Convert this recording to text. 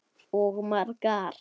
Og margar.